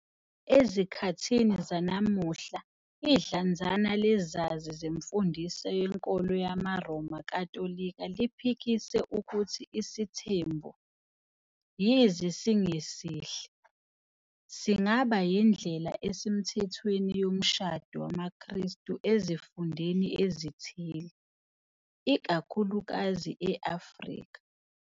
Ezikhathini zanamuhla idlanzana lezazi zemfundiso yenkolo yamaRoma Katolika liphikise ukuthi isithembu, yize singesihle, singaba yindlela esemthethweni yomshado wamaKristu ezifundeni ezithile, ikakhulukazi e-Afrika.